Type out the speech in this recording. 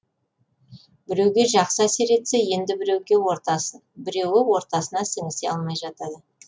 біреуге жақсы әсер етсе енді біреуі ортасына сіңісе алмай жатады